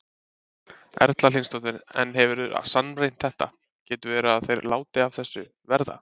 Erla Hlynsdóttir: En hefurðu sannreynt þetta, getur verið að þeir láti af þessu verða?